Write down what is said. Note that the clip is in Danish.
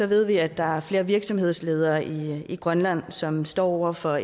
ved vi at der er flere virksomhedsledere i grønland som står over for